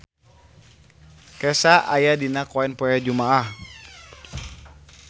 Kesha aya dina koran poe Jumaah